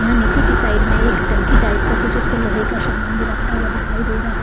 यहां नीचे की साइड में एक टंकी टाइप का कुछ उस पे लोहे का शामान भी रखा हुआ दिखाई दे रहा है।